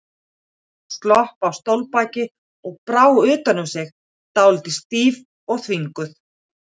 Hún tók slopp af stólbaki og brá utan um sig, dálítið stíf og þvinguð.